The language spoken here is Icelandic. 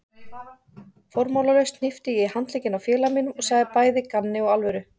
Formálalaust hnippti ég í handlegginn á félaga mínum og sagði bæði í gamni og alvöru